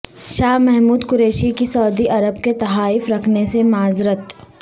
شاہ محمود قریشی کی سعودی عرب کے تحائف رکھنے سے معذرت